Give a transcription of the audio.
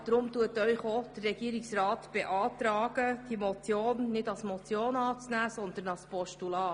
Deshalb beantragt Ihnen der Regierungsrat, diesen Vorstoss nicht als Motion anzunehmen, sondern als Postulat.